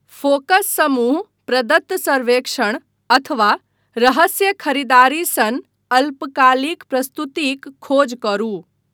Focus समूह, प्रदत्त सर्वेक्षण, अथवा रहस्य खरीदारी सन अल्पकालिक प्रस्तुतिक खोज करू।